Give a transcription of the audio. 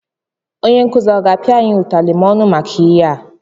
Onye nkuzi aga apịa anyị utarị ma ọ nụ maka ihe?